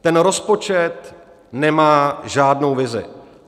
Ten rozpočet nemá žádnou vizi.